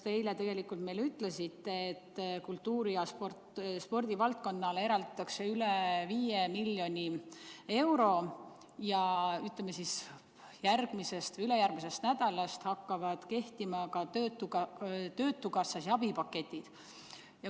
Te eile tegelikult ütlesite meile, et kultuuri- ja spordivaldkonnale eraldatakse üle 5 miljoni euro ja et järgmisest või ülejärgmisest nädalast hakkavad tööle ka töötukassa abipaketid.